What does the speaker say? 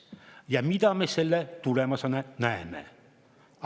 Ja mida me selle tulemusena näeme?